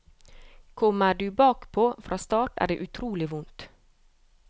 Kommer du bakpå fra start er det utrolig vondt.